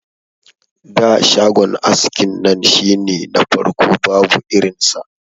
Da shagon askin nan shine na farko babu irin sa.